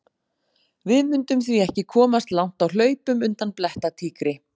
Við mundum því ekki komast langt á hlaupum undan blettatígri!